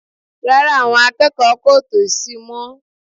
Rárá, àwọn akẹ́kọ̀ọ́ kò tò sì mọ́